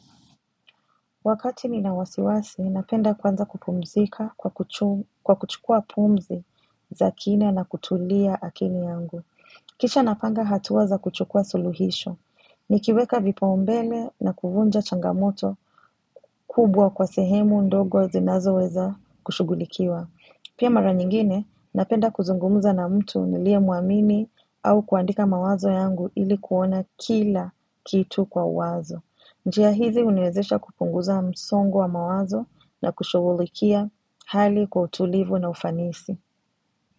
Wakati nina wasiwasi, napenda kwanza kupumzika kwa kuchukua pumzi za kina na kutulia akili yangu. Kisha napanga hatua za kuchukua suluhisho. Nikiweka vipaumbele na kuvunja changamoto kubwa kwa sehemu ndogo zinazo weza kushugulikiwa. Pia mara nyingine, napenda kuzungumuza na mtu niliye mwamini au kuandika mawazo yangu ili kuona kila kitu kwa uwazo. Njia hizi huniwezesha kupunguza msongo wa mawazo na kushughulikia hali kwa utulivu na ufanisi.